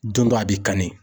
a b'i kanni.